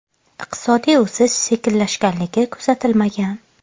Iqtisodiy o‘sish sekinlashganligi kuzatilmagan.